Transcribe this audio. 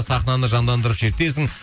сахнаны жандандырып шертесің